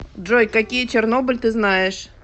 джой какие чернобыль ты знаешь